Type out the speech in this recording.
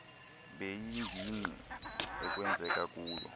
beengingqi ekwenzeka kuzo